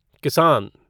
किसान